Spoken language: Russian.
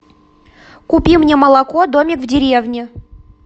купи мне молоко домик в деревне